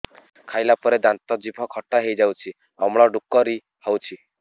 ଖାଇଲା ପରେ ଦାନ୍ତ ଜିଭ ଖଟା ହେଇଯାଉଛି ଅମ୍ଳ ଡ଼ୁକରି ହଉଛି